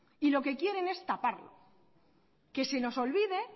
y lo que quieren es taparlo que se nos olvide